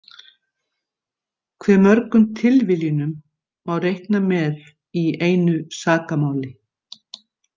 Hve mörgum tilviljunum má reikna með í einu sakamáli?